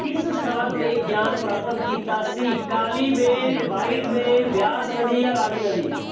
ਕਿਸ ਸਥਾਨ 'ਤੇ ਗਿਆਨ ਪ੍ਰਾਪਤ ਕੀਤਾ ਸੀ। ਕਾਲੀ ਬੇਨ, white ਬੇਨ, ਬਿਆਸ ਨਦੀ ਜਾਂ ਰਾਵੀ ਨਦੀ।